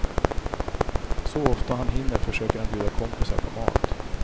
Så ofta han hinner försöker han bjuda kompisar på mat.